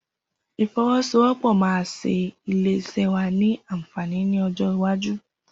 Ifèsówọpọ̀ mà ṣé ilé iṣẹ wà ni ànfání ni ọjọ iwàjú